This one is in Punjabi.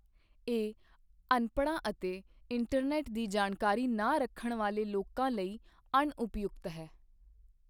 ਇਹ ਅਨਪੜ੍ਹਾਂ ਅਤੇ ਇੰਟਰਨੈੱਟ ਦੀ ਜਾਣਕਾਰੀ ਨਾ ਰੱਖਣ ਵਾਲੇ ਲੋਕਾਂ ਲਈ ਅਣਉਪਯੁਕਤ ਹੈ।